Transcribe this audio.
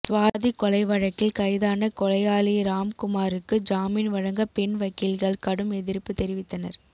சுவாதி கொலை வழக்கில் கைதான கொலையாளி ராம்குமாருக்கு ஜாமீன் வழங்க பெண் வக்கீல்கள் கடும் எதிர்ப்பு தெரிவித்தனர்